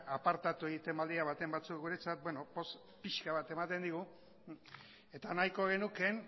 apartatu egiten badira baten batzuk guretzat beno poz pixka bat ematen digu eta nahiko genuke